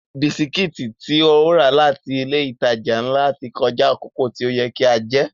Bisikítì tí ó rà láti ilé ìtajà ńlá ti kọjá àkókò tí ó yẹ kí a jẹ́